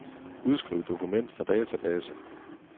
Udskriv dokument fra database.